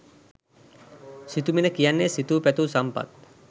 සිතුමිණ කියන්නේ සිතූ පැතූ සම්පත්